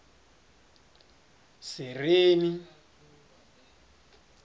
sereni